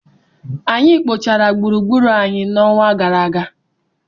Anyị kpochara gburugburu anyị n'ọnwa gara aga.